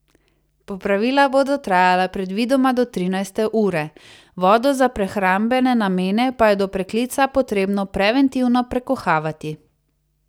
Popravila bodo trajala predvidoma do trinajste ure, vodo za prehrambene namene pa je do preklica potrebno preventivno prekuhavati.